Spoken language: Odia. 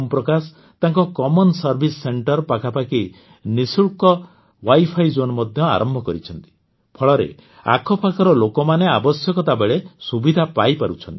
ଓମପ୍ରକାଶ ତାଙ୍କ ସାଧାରଣ ସେବା କେନ୍ଦ୍ର ପାଖାପାଖି ନିଃଶୁଳ୍କ ୱାଇଫାଇ ଜୋନ୍ ମଧ୍ୟ ଆରମ୍ଭ କରିଛନ୍ତି ଫଳରେ ଆଖପାଖର ଲୋକମାନେ ଆବଶ୍ୟକତା ବେଳେ ସୁବିଧା ପାଇପାରୁଛନ୍ତି